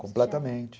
Completamente.